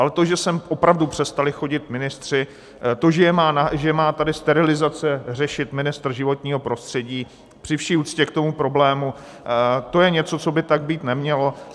Ale to, že sem opravdu přestali chodit ministři, to, že má tady sterilizace řešit ministr životního prostředí, při vší úctě k tomu problému to je něco, co by tak být nemělo.